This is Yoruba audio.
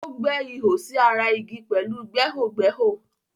O gbẹ́ ihò sí ara igi pẹ̀lú gbẹ́hògbẹ́hò.